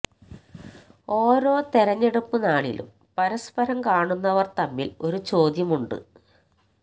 ഓരോ തെരഞ്ഞെടുപ്പു നാളിലും പരസ്പരം കാണുന്നവർ തമ്മിൽ ഒരു ചോദ്യമുണ്ട്